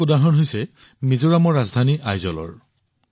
তেনে এটা উদাহৰণ হৈছে মিজোৰামৰ ৰাজধানী আইজলৰ